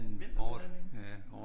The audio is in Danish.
Vinterbadning